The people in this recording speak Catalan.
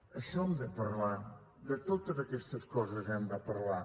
d’això hem de parlar de totes aquestes coses hem de parlar